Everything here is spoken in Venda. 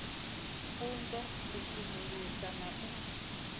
funza u sudzulusa na u